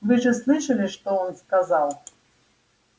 вы же слышали что он сказал